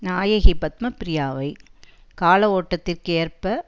நாயகி பத்மப்ரியாவை கால ஓட்டத்திற்கு ஏற்ப